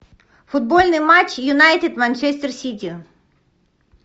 футбольный матч юнайтед манчестер сити